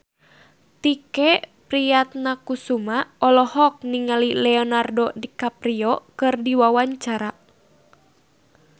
Tike Priatnakusuma olohok ningali Leonardo DiCaprio keur diwawancara